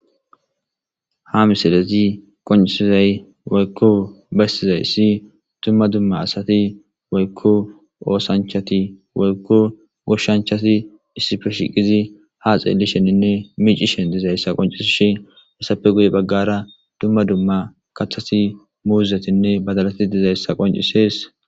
Ha misilezi qoncisizay waykko beystizay si tumma dumma asati waykko oosanchati waykko goshshanchati issife shiqizi ha xeelli sheninne miicishen dizayssa qoncis shi hasape guye baggara dumma dumma kathati muuzetinne badalati dizayssa qoncisees.